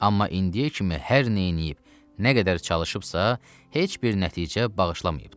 Amma indiyə kimi hər nə eləyib, nə qədər çalışıbsa, heç bir nəticə bağışlamayıbdır.